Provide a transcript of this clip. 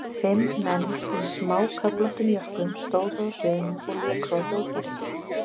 Fimm menn í smáköflóttum jökkum stóðu á sviðinu og léku á hljóðfæri.